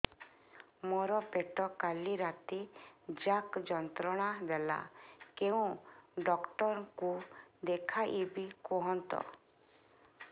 ମୋର ପେଟ କାଲି ରାତି ଯାକ ଯନ୍ତ୍ରଣା ଦେଲା କେଉଁ ଡକ୍ଟର ଙ୍କୁ ଦେଖାଇବି କୁହନ୍ତ